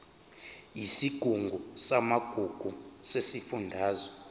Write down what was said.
yesigungu samagugu sesifundazwe